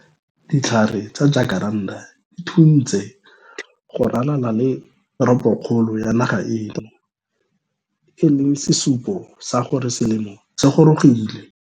Ditlhare tsa jakaranta di thuntse go ralala le teropokgolo ya naga eno, e leng sesupo sa gore selemo se gorogile.